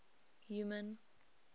human